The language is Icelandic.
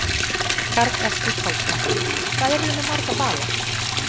Karl Eskil Pálsson: Hvað eruð þið með marga bala?